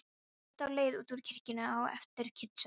Ég grét á leið út úr kirkjunni á eftir kistunni.